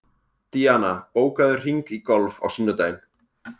Díana, bókaðu hring í golf á sunnudaginn.